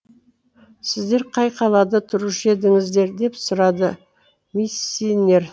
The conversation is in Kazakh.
сіздер қай қалада тұрушы едіңіздер деп сұрады миссинер